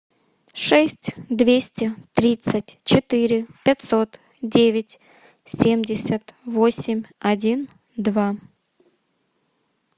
шесть двести тридцать четыре пятьсот девять семьдесят восемь один два